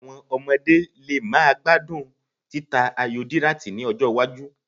Àwọn ọmọdé lè má gbádùn títa ayò díráàtì ní ọjọ́-iwájú.